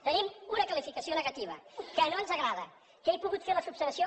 tenim una qualificació negativa que no ens agrada que he pogut fer l’esmena